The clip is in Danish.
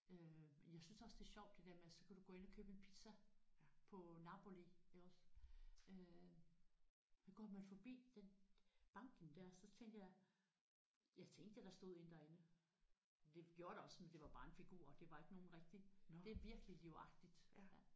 Øh og jeg synes også det er sjovt det der med så kan du ind og købe en pizza på Napoli iggås øh der går man fordi den banken der så tænker jeg jeg tænkte da der stod én derinde det gjorde der også men det var bare en figur det var ikke nogen rigtig det er virkelig livagtigt